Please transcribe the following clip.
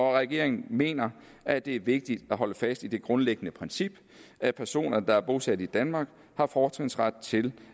regeringen mener at det er vigtigt at holde fast i det grundlæggende princip at personer der er bosat i danmark har fortrinsret til